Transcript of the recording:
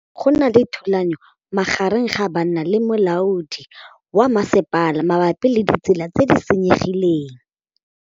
Go na le thulanô magareng ga banna le molaodi wa masepala mabapi le ditsela tse di senyegileng.